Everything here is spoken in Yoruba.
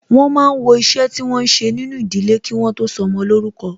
Wọn máa ń wọ iṣẹ́ tí wọn ń ṣe nínú ìdílé, kí wọ́n tó sọmọ lórúkọ